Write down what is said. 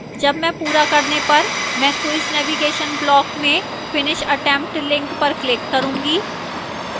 जब मैं पूरा करने पर मैं quiz navigation block में finish attempt… link पर click करूंगी